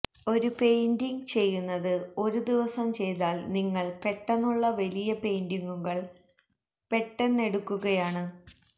ഒരു പെയിന്റിംഗ് ചെയ്യുന്നത് ഒരു ദിവസം ചെയ്താൽ നിങ്ങൾ പെട്ടെന്നുള്ള വലിയ പെയിന്റിംഗുകൾ പെട്ടെന്നെടുക്കുകയാണ്